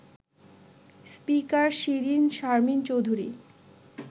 speaker Shirin Sharmin Chowdhury